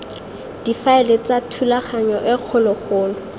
difaele tsa thulaganyo e kgologolo